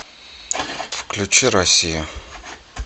включи россия